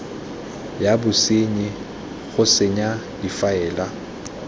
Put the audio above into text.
ya bosenyi go senya difaele